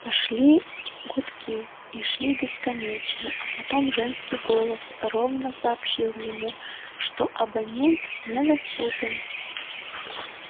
пошли гудки и шли бесконечно а потом женский голос ровно сообщил ему что абонент недоступен